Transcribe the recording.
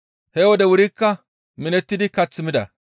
He wode wurikka minettidi kath mida.